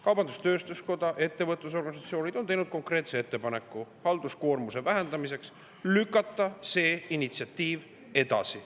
Kaubandus-tööstuskoda ja ettevõtlusorganisatsioonid on teinud konkreetse ettepaneku halduskoormuse vähendamiseks lükata see initsiatiiv edasi.